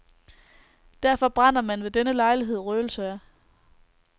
Derfor brænder man ved denne lejlighed røgelse af.